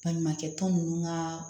Baɲumankɛ tɔn ninnu ka